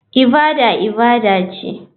Ibada ibada ce.